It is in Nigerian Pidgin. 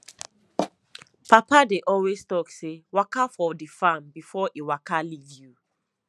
papa dey always talk say waka for the farm before e waka leave you